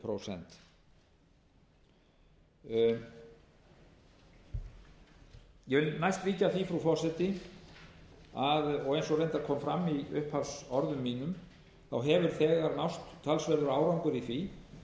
prósent ég vil næst víkja að því frú forseti að eins og reyndar kom fram í upphafsorðum mínum hefur þegar náðst talsverður árangur í því